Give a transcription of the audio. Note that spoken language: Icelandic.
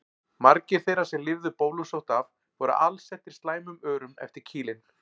Margir þeirra sem lifðu bólusótt af voru alsettir slæmum örum eftir kýlin.